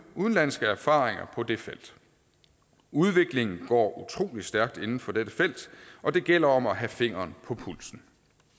udenlandske erfaringer på det felt udviklingen går utrolig stærkt inden for dette felt og det gælder om at have fingeren på pulsen